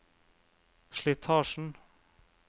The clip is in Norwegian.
slitasjen